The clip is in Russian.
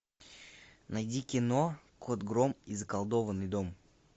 найди кино кот гром и заколдованный дом